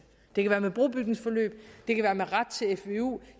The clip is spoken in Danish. det kan være med brobygningsforløb det kan være med ret til fvu